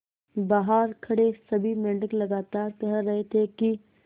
बहार खड़े सभी मेंढक लगातार कह रहे थे कि